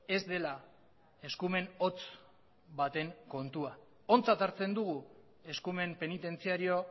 ez dela eskumen hotz baten kontua ontzat hartzen dugu eskumen penitentziario